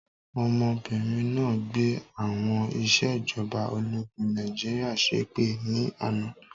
Ọmọbìnrin náà gbé àwọn ìsèjọba ológun Nàìjíríà ṣépè ni àná